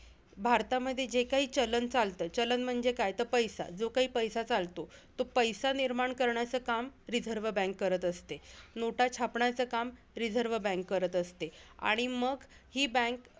भारतामध्ये जे काही चलन चालतं, चलन म्हणजे काय? त पैसा, जो काही पैसा चालतो तो पैसा निर्माण करण्याचं काम रिझर्व बँक करत असते. नोटा छापण्याचं काम रिझर्व बँक करत असते आणि मग ही bank